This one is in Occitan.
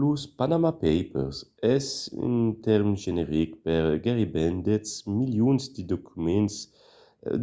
los panama papers es un tèrme generic per gaireben dètz milions de documents